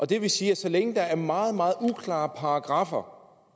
det vil sige at så længe der er meget meget uklare paragraffer